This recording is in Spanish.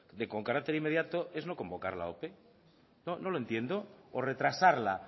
de con carácter inmediato es no convocarla la ope no lo entiendo o retrasarla